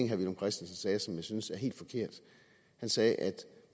herre villum christensen sagde som jeg synes er helt forkert han sagde at